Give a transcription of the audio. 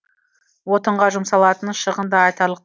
отынға жұмсалатын шығын да айтарлық